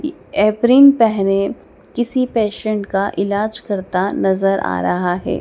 ई अप्रिंग पेहने किसी पेशेंट का इलाज करता नजर आ रहा है।